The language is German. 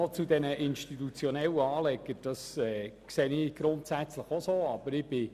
Zu den institutionellen Anlegern: Ich sehe das grundsätzlich auch so.